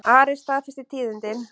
Ari staðfesti tíðindin.